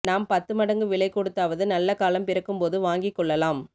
நாம் பத்துமடங்கு விலை கொடுத்தாவது நல்ல காலம் பிறக்கும்போது வாங்கிக்கொள்ளலாம்